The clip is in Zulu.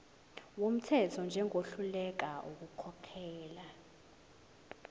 wumthetho njengohluleka ukukhokhela